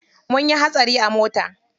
Munyi hatsari a mota.